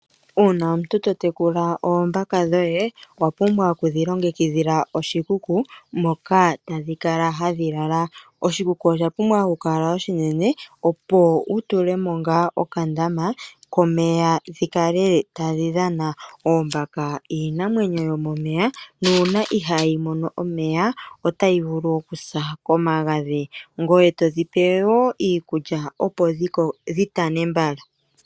Una omuntu to tekula ombaka dhoye owa pumbwa oku dhi longekidhila oshikuku moka tadhi kala hadhi lala. Oshikuku osha pumbwa oku kala oshinene opo wu tule mo ngaa okandama komeya dhi kale tadhi dhana. Oombaka iinamwenyo yomomeya nuna ihayi mono omeya otayi vulu okusa komagadhi. Ngoye to dhipe wo iikulya opo dhi tane mbala.